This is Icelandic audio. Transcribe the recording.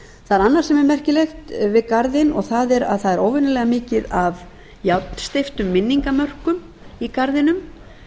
er annað sem er merkilegt við garðinn og það er að það er óvenjuelga mikið af járnsteyptum minningarmörkum í garðinum